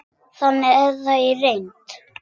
Þannig er það í reynd.